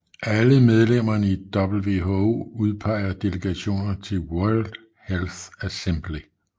Alle medlemmerne i WHO udpeger delegationer til World Health Assembly